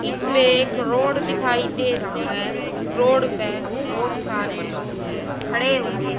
इसमें एक रोड दिखाई दे रहा है रोड पे बहोत सारे लोग खड़े हुए--